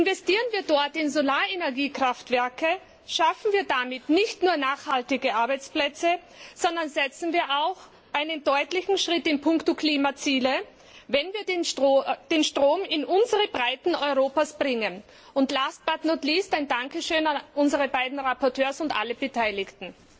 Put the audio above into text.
Investieren wir dort in Solarenergie Kraftwerke, dann schaffen wir damit nicht nur nachhaltige Arbeitsplätze, sondern wir setzen auch einen deutlichen Schritt in puncto Klimaziele, wenn wir den Strom in unsere Breiten Europas bringen. Last but not least Ein Dankeschön an unsere beiden Berichterstatter und an alle Beteiligten.